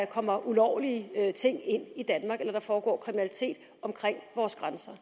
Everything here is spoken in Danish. kommer ulovlige ting ind i danmark eller der foregår kriminalitet omkring vores grænser